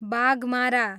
Baghmara